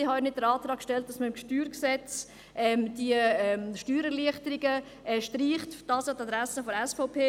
Ich habe auch nicht den Antrag gestellt, im StG die Steuererleichterungen zu streichen – das an die Adresse der SVP.